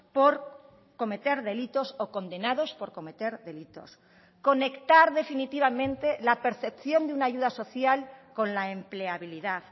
por cometer delitos o condenados por cometer delitos conectar definitivamente la percepción de una ayuda social con la empleabilidad